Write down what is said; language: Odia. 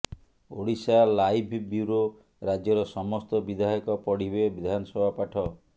ଓଡ଼ିଶାଲାଇଭ୍ ବ୍ୟୁରୋ ରାଜ୍ୟର ସମସ୍ତ ବିଧାୟକ ପଢ଼ିବେ ବିଧାନସଭା ପାଠ